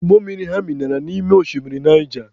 Ụgbọ mmiri ha minara n'ime oshimiri Naija